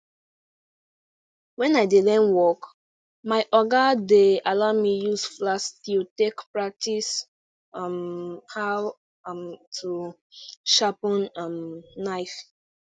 wen i dey learn work my oga dey allow me use flat steel take practice um how um to sharpen um knife